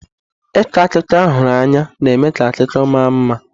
Ịkọ akụkọ ahụrụ anya na-eme ka akụkọ ma mma.